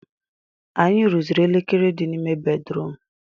Anyị rụziri elekere di n'ime bedrum